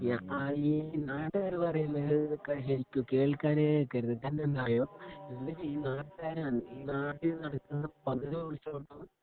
യായി ആയി നാട്ടുകാര് പറേന്നത് കേക്ക് കേൾക്കുവാനെ നിക്കരുത് കാരണം എന്താന്നറിയോഎന്നിട്ട് ഈ നാട്ടുകാര് നാട്ടിനടക്കുന്ന പകുതി സഭവങ്ങളും